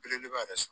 Belebeleba yɛrɛ